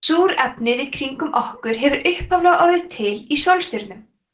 súrefnið í kringum okkur hefur upphaflega orðið til í sólstjörnum